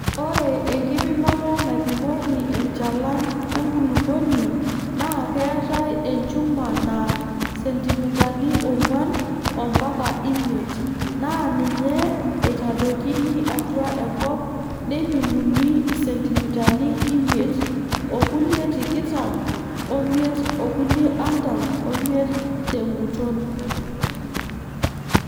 Ore enkipimoto naipimoki enchalan enkulupuoni naa keetae enchuma naa sentimitani oong'wan mpaka imiet naa ninye eitadoikini atua enkop neipimuni isentimitani imiet, o nkulie tikitam omiet okulie artam omiet tenguton.